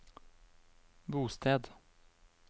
bosted